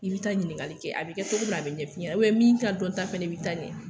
I bi taa ɲiningali kɛ a be kɛ togo min na a bi ɲɛ f'i ɲɛnɛ ubiyɛn min ka dɔnta b'i ta ɲɛn